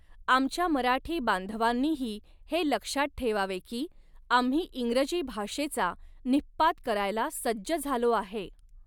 आमच्या मराठी बांधवांनीही हे लक्षात ठेवावे की आम्ही इंग्रजी भाषेचा निःपात करायला सज्ज झालो आहे.